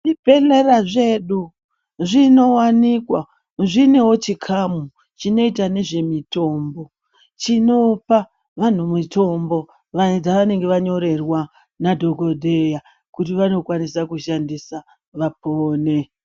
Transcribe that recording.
Zvibhedhlera zvedu zvinowanikwa chine chikamu chinoita nezvemitombo chinopa vantu mitombo dzavanenge vanyorerwa Madhokodheya kuti vakwanisa kushandisa vakone.